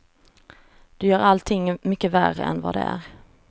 Du gör allting mycket värre än vad det är.